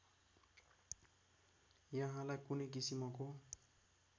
यहाँलाई कुनै किसिमको